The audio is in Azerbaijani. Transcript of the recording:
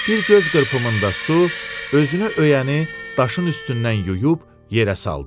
Bir göz qırpımında su özünü öyəni daşın üstündən yuyub yerə saldı.